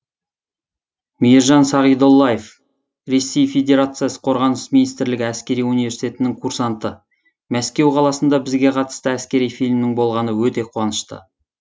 мейіржан сағидоллаев ресей федерациясы қорғаныс министрлігі әскери университетінің курсанты мәскеу қаласында бізге қатысты әскери фильмнің болғаны өте қуанышты